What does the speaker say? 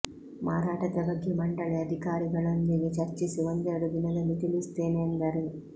ಮಾರಾಟದ ಬಗ್ಗೆ ಮಂಡಳಿ ಅಧಿಕಾರಿಗಳೊಂದಿಗೆ ಚರ್ಚಿಸಿ ಒಂದೆರೆಡು ದಿನದಲ್ಲಿ ತಿಳಿಸುತ್ತೇನೆ ಎಂದರು